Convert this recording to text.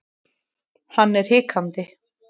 Hann er hikandi.